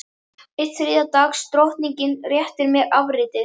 Enn ein þriðja dags drottningin réttir mér afritið.